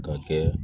Ka kɛ